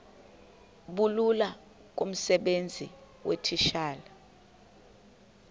bulula kumsebenzi weetitshala